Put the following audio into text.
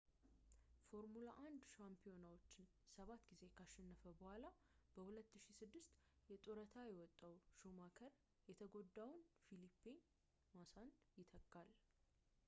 ፎርሙላ 1 ሻምፒዮናዎችን ሰባት ጊዜ ካሸነፈ በኋላ በ2006 የጡረታ የወጣው ሹማከር የተጎዳውን ፊሊፔ ማሳን ይተካል